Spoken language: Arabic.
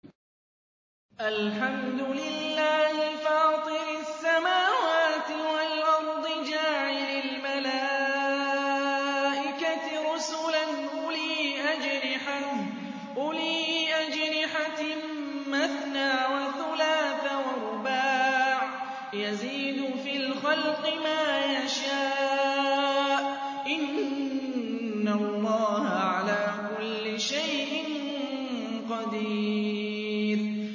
الْحَمْدُ لِلَّهِ فَاطِرِ السَّمَاوَاتِ وَالْأَرْضِ جَاعِلِ الْمَلَائِكَةِ رُسُلًا أُولِي أَجْنِحَةٍ مَّثْنَىٰ وَثُلَاثَ وَرُبَاعَ ۚ يَزِيدُ فِي الْخَلْقِ مَا يَشَاءُ ۚ إِنَّ اللَّهَ عَلَىٰ كُلِّ شَيْءٍ قَدِيرٌ